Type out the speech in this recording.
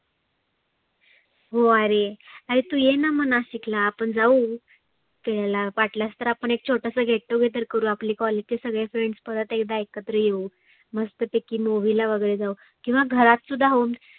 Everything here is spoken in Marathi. हो आरे, आरे तु येणा नाशिकला आपण जाऊ. ते ह्याला वाटलस तर आपण एक छोटस get together करु आपले college चे सगळे friends परत एकदा एकत्र येऊ. मस्त पैकी movie ला वगैरे जाऊ. किंवा घरात सुद्धा होऊ